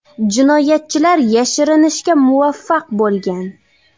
Jinoyatchilar yashirinishga muvaffaq bo‘lgan.